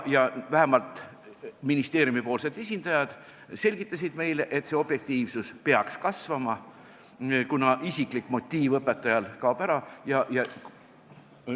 Ja vähemalt ministeeriumi esindajad selgitasid meile, et see objektiivsus peaks kasvama, kuna õpetajal kaob isiklik motiiv ära.